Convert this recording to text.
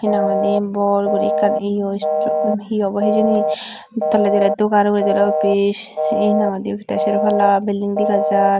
hinahoide bor guri ekkan eyo istum he obo hejeni tolydi oly dogan uguredi oly office hinahoide te sero palla building degajar.